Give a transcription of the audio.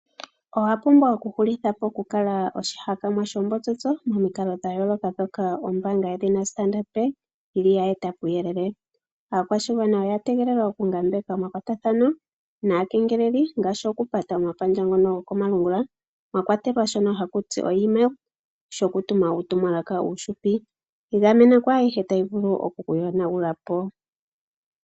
Owa pumbwa okuhulitha po okukala oshihakanwa shoombotsotso momikalo dha yooloka ndhoka ombaanga yedhina Standard Bank yili yeeta puuyelele. Aakwashigwana oya tegelela okungambeka omakwatathano naakengeleli ngaashi okupata omapandja ngono komalungula mwa kwatelwa shono shokutuma uutumwalaka uuhupi. Igamena kwaayihe tayi vulu okukuyonagula po.